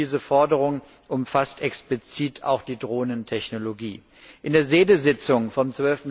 Diese Forderung umfasst explizit auch die Drohnentechnologie. In der SEDE Sitzung vom